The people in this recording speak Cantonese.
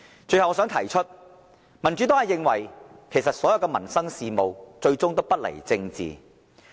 最後，我想提出，民主黨認為所有民生事務最終都不離政治。